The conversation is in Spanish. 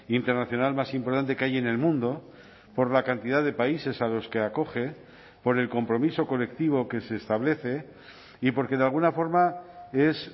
internacional más importante que hay en el mundo por la cantidad de países a los que acoge por el compromiso colectivo que se establece y porque de alguna forma es